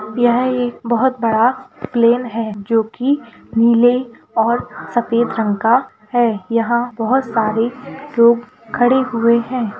यह एक बहुत बड़ा प्लेन है जो की नीले और सफेद रंग का है यहाँ बहुत सारे लोग खड़े हुए हैं ।